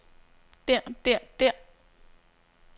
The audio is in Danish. der der der